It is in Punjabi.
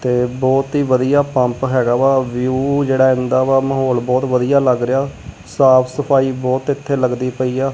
ਤੇ ਬਹੁਤ ਹੀ ਵਧੀਆ ਪੰਪ ਹੈਗਾ ਵਾ ਵਿਊ ਜਿਹੜਾ ਆਉਂਦਾ ਵਾ ਮਾਹੌਲ ਬਹੁਤ ਵਧੀਆ ਲੱਗ ਰਿਹਾ ਸਾਫ ਸਫਾਈ ਬਹੁਤ ਇੱਥੇ ਲਗਦੀ ਪਈ ਆ।